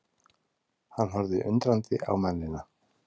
Hann horfði undrandi á mennina.